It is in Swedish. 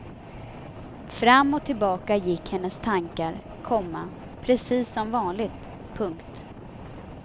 Fram och tillbaka gick hennes tankar, komma precis som vanligt. punkt